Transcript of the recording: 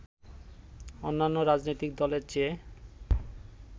অন্যান্য রাজনৈতিক দলের চেয়ে